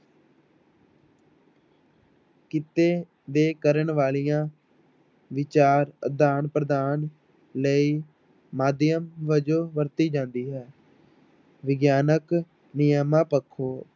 ਕਿੱਤੇ ਦੇ ਕਰਨ ਵਾਲੀਆਂ ਵਿਚਾਰ ਆਦਾਨ ਪ੍ਰਦਾਨ ਲਈ ਮਾਧਿਅਮ ਵਜੋਂ ਵਰਤੀ ਜਾਂਦੀ ਹੈ ਵਿਗਿਆਨਕ ਨਿਯਮਾਂ ਪੱਖੋਂ